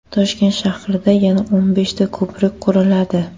Toshkent shahrida yana o‘n beshta ko‘prik quriladi.